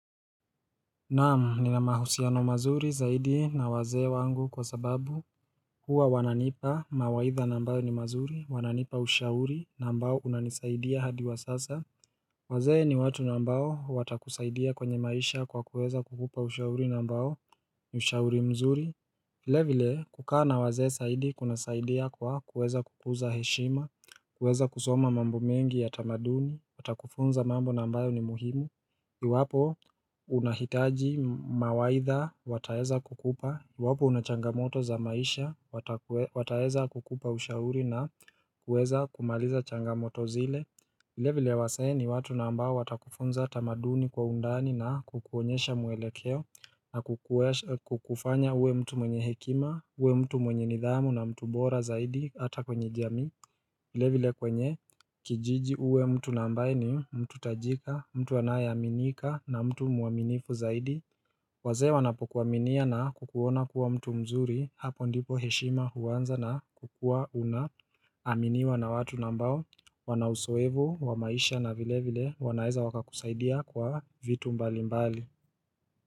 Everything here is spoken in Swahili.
Naamu ni na mahusiano mazuri zaidi na wazee wangu kwa sababu Hua wananipa mawaitha nambao ni mazuri, wananipa ushauri nambao unanisaidia hadi wa sasa waze ni watu nambao watakusaidia kwenye maisha kwa kuweza kukupa ushauri nambao ushauri mzuri vile vile kukana waze saidi kuna saidia kwa kuweza kukuza heshima, kuweza kusoma mambo mengi ya tamaduni, watakufunza mambo nambao ni muhimu Iwapo unahitaji mawaitha wataeza kukupa Iwapo unachangamoto za maisha wataeza kukupa ushauri na kueza kumaliza changamoto zile ile vile wase ni watu na ambao watakufunza tamaduni kwa undani na kukuonyesha mwelekeo na kukufanya uwe mtu mwenye hekima, uwe mtu mwenye nidhamu na mtu bora zaidi hata kwenye jami vile vile kwenye kijiji uwe mtu nambaye ni mtu tajika, mtu anayaminika na mtu muaminifu zaidi wazee wanapokuwaminia na kukuona kuwa mtu mzuri hapo ndipo heshima huwanza na kukua unaaminiwa na watu nambao Wanausoevo, wa maisha na vile vile wanaeza waka kusaidia kwa vitu mbali mbali.